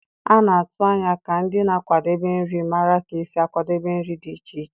A na-atụ anya ka ndị na-akwadebe nri mara ka esi akwadebe nri dị iche iche.